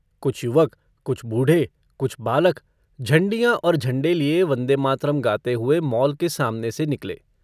कुछ युवक कुछ बूढ़े कुछ बालक झण्डियाँ और झण्डे लिये वन्देमातरम् गाते हुए माल के सामने से निकले।